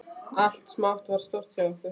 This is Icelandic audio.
Allt smátt varð stórt hjá okkur.